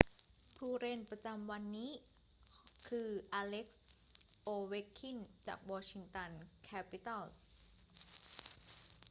ผู้เล่นประจำวันของวันนี้คือ อเล็กซ์ โอเวคคิน จากวอชิงตันแคปิตัลส์